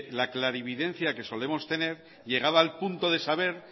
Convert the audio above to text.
la clarividencia que solemos tener llegaba al punto de saber